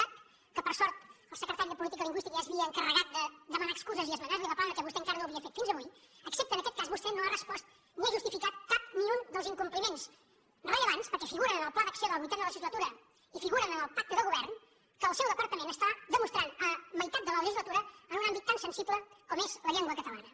cat que per sort el secretari de política lingüística ja s’havia encarregat de demanar ne excuses i esmenar li la plana perquè vostè encara no ho havia fet fins avui excepte en aquest cas vostè no ha respost ni ha justificat cap ni un dels incompliments rellevants perquè figuren en el pla d’acció de la vuitena legislatura i figuren en el pacte de govern que el seu departament està demostrant a meitat de la legislatura en un àmbit tan sensible com és la llengua catalana